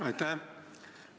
Aitäh!